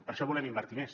per això volem invertir més